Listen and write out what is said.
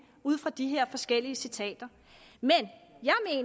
ud fra de her forskellige citater men